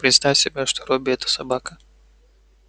представь себе что робби это собака